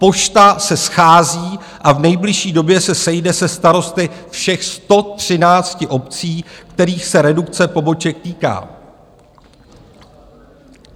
Pošta se schází a v nejbližší době se sejde se starosty všech 113 obcí, kterých se redukce poboček týká.